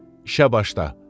İşə başda.